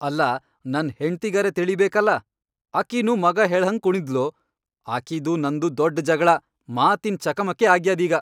ಅಲ್ಲಾ ನನ್ ಹೆಂಡ್ತಿಗರೇ ತಿಳೀಬೇಕಲಾ ಅಕಿನೂ ಮಗಾ ಹೇಳ್ಹಂಗ್ ಕುಣದ್ಲು ಆಕೀದೂ ನಂದೂ ದೊಡ್ಡ್ ಜಗಳಾ, ಮಾತಿನ್ ಚಕಮಕಿ ಆಗ್ಯಾದೀಗ.